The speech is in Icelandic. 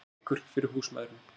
Veikur fyrir húsmæðrum